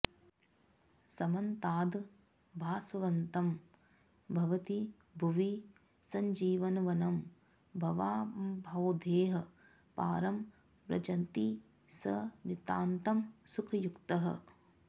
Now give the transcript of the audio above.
समन्ताद् भास्वन्तं भवति भुवि सञ्जीवनवनं भवाम्भोधेः पारं व्रजति स नितान्तं सुखयुतः